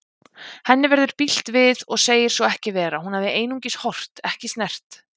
Henni verður bilt við og segir svo ekki vera, hún hafi einungis horft, ekki snert.